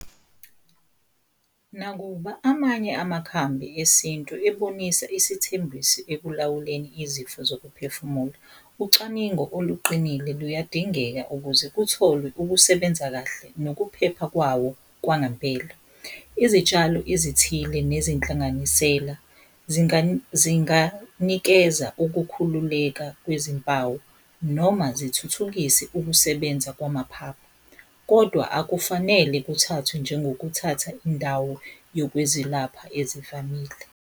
Nakuba amanye amakhambi esintu ebonisa isithembiso ekulawuleni izifo zokuphefumula, ucwaningo oluqinile luyadingeka ukuze kutholwe ukusebenza kahle nokuphepha kwawo kwangampela. Izitshalo ezithile nezinhlanganisela zinganikeza ukukhululeka kwezimpawu noma zithuthukise ukusebenza kwamaphaphu. Kodwa akufanele kuthathwe njengokuthatha indawo yokwezilapha ezivamile.